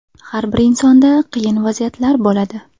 Har bir insonda qiyin vaziyatlar bo‘ladi.